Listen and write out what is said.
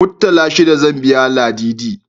Muttala shida zan biya Ladidi.